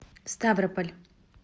ставрополь